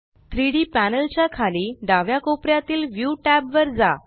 3डी पॅनल च्या खाली डाव्या कोपऱ्यातीलview टॅब वर जा